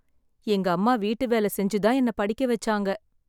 எங்க அம்மா வீட்டு வேல செஞ்சு தான் என்ன படிக்க வெச்சாங்க.